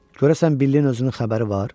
Görəsən Billin özünün xəbəri var?